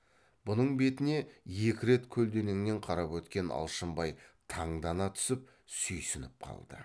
бұның бетіне екі рет көлденеңнен қарап өткен алшынбай таңдана түсіп сүйсініп қалды